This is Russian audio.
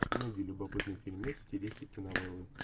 найди любопытный фильмец в стилистике новеллы